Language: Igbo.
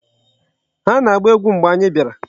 Ha na-agba egwu mgbe anyị bịara.